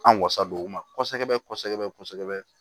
An wasadon u ma kosɛbɛ kosɛbɛ